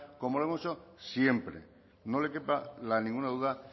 como lo hemos hecho siempre no le quepa ninguna duda